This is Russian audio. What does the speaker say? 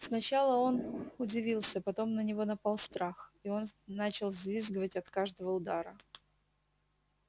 сначала он удивился потом на него напал страх и он начал взвизгивать от каждого удара